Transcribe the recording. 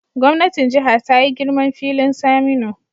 Gwamnatin Jiha ta yi girman filin Saminu